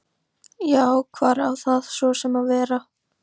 Já, hvar á það svo sem að vera?